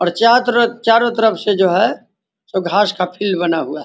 और चारों तरफ से चारो तरफ से जो है घास का फील्ड बना हुआ है ।